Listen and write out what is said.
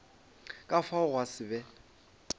ka fao gwa se be